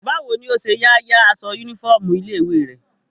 Báwo ni ọ ṣe ya ya aṣọ yúnífọ́ọ̀mù ilé-ìwé rẹ?